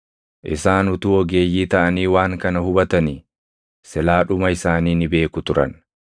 Isaan utuu ogeeyyii taʼanii waan kana hubatanii silaa dhuma isaanii ni beeku turan!